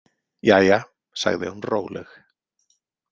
Jæja, sagði hún róleg.